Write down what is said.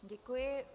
Děkuji.